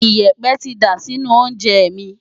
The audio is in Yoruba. Ìyẹ̀pẹ̀ ti dà sínú oúnjẹ mi.